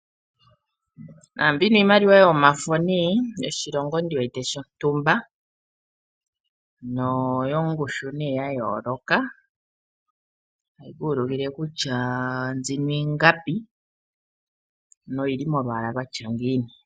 Naambino iimaliwa yomafo nee yoshilongo ndi wete shontumba. Noyo ngushu nee ya yoloka. Tayi ku ulukile kutya mbyino ingapi noyili molwaala lwatya ngiini.